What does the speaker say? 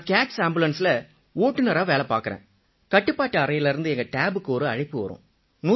நான் கேட்ஸ் AMBULANCEல ஓட்டுநரா வேலை பார்க்கறேன் கட்டுப்பாட்டு அறையிலிருந்து எங்க டேபுக்கு ஒரு அழைப்பு வரும்